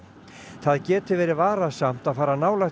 það geti verið varasamt fara nálægt